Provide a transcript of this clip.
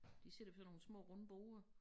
De sidder ved sådan nogle små runde borde